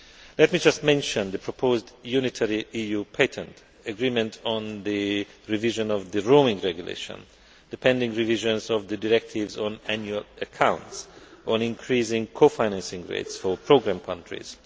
Let me just mention the proposed unitary EU patent, agreement on the revision of the Roaming Regulation, the pending revisions of the directives on annual accounts, and increasing co financing rates for programme countries.